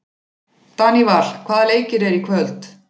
Daníval, hvaða leikir eru í kvöld?